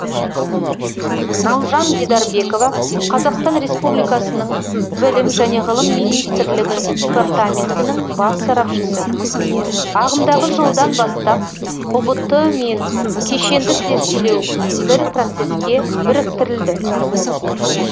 наужан дидарбекова қазақстан республикасының білім және ғылым министрлігі департаментінің бас сарапшысы ағымдағы жылдан бастап ұбт мен кешенді тестілеу бір процеске біріктірілді